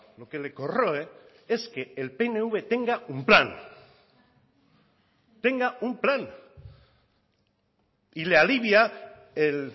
lo que le corroe es que el pnv tenga un plan tenga un plan y le alivia el